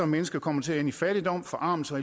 mennesker kommer til at ende i fattigdom forarmelse